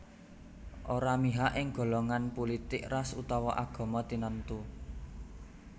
ora mihak ing golongan pulitik ras utawa agama tinentu